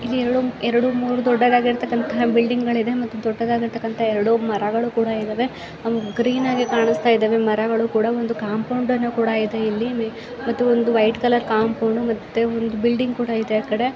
ಇಲ್ಲಿ ಎರಡು ಎರಡು ಮೂರು ದೊಡ್ಡದಾಗಿರ್ತಕಾಂತಹ ಬಿಲ್ಡಿಂಗ್ ಗಳು ಇದೆ ಮತ್ತೆ ದೊಡ್ಡದಾಗಿರ್ತಕಾಂತಹ ಎರಡು ಮರಗಳು ಕೂಡ ಇದ್ದಾವೆ ಗ್ರೀನ್ ಆಗೆ ಕಾಣ್ಸ್ಥಾ ಇದ್ದಾವೆ ಮರಗಳು ಕೂಡ ಒಂದು ಕಾಂಪೌಂಡ್ ಅನ್ನ ಕೂಡ ಇದೆ ಇಲ್ಲಿ ಮತ್ತು ಒಂದು ವೈಟ್ ಕಲರ್ ಕಾಂಪೌಂಡ್ ಮತ್ತೆ ಒಂದು ಬಿಲ್ಡಿಂಗ್ ಕೂಡ ಇದೆ ಆ ಕಡೆ --